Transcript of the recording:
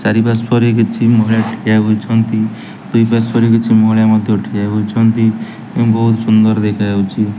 ଚାରି ପାର୍ଶ୍ବରେ କିଛି ମହିଳା ଠିଆ ହୋଇଛନ୍ତି ଦୁଇ ପାର୍ଶ୍ଵରେ କିଛି ମହିଳା ମଧ୍ୟ ଠିଆ ହୋଇଛନ୍ତି ଏବଂ ବୋହୁତ ସୁନ୍ଦର୍ ଦେଖାଯାଉଚି।